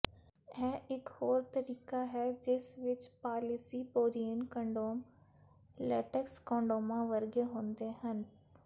ਇਹ ਇਕ ਹੋਰ ਤਰੀਕਾ ਹੈ ਜਿਸ ਵਿਚ ਪਾਲੀਿਸਪੋਰੀਨ ਕੰਡੋਮ ਲੈਟੇਕਸ ਕੋਂਡੋਮਾਂ ਵਰਗੇ ਹੁੰਦੇ ਹਨ